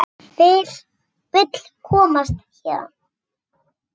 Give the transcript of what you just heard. Vill komast héðan.